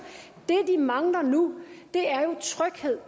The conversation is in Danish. det de mangler nu er jo tryghed